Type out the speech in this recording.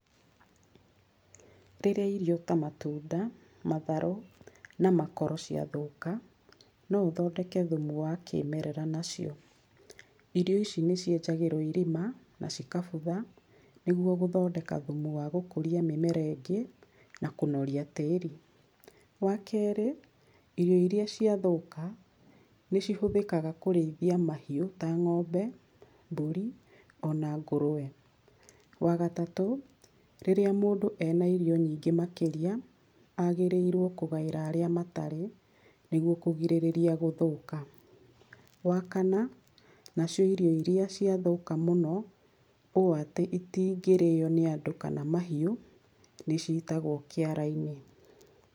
Rĩrĩa irio ta matunda, matharũ na makoro ciathũka, no ũthondeke thumu wa kĩĩmerera nacio. Irio ici nĩcienjagĩrwo irima na cikabutha, nĩgwo gũthondeka thumu wa gũkũria mĩmera ĩngĩ na kũnoria tĩĩri. Wakerĩ, irio iria ciathũka nĩcihũthĩkaga kũrĩithia mahĩũ ta ng'ombe, mbũri ona ngũrũwe. Wagatatũ, rĩrĩa mũndũ ena irio nyingĩ makĩria, agĩrĩirwo kũgaĩra arĩa matarĩ nĩgwo kũgirĩrĩria gũthũka. Wakana, nacio irio iria ciathũka mũno ũũ atĩ itingĩrĩywo nĩ andũ kana mahĩũ, nĩcitagwo kĩara-inĩ.